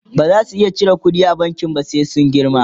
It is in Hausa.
baza su iya cire ƙuɗi a bankin ba sai sun girma